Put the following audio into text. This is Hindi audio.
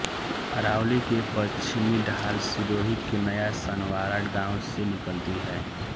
अरावली के पश्चिमी ढाल सिरोही के नया सानवारा गांव से निकलती है